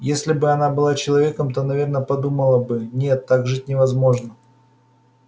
если бы она была человеком то наверное подумала бы нет так жить невозможно